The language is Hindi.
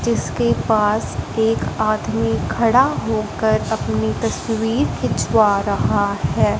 जिसके पास एक आदमी खड़ा होकर अपनी तस्वीर खिंचवा रहा है।